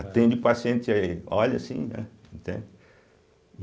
Atende paciente aí, olha assim, né? entende